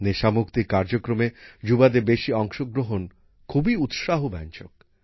নেশা মুক্তির কার্যক্রমে যুবাদের বেশি অংশগ্রহণ খুবই উৎসাহব্যঞ্জক